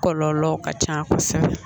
Kɔlɔlɔ ka ca kosɛbɛ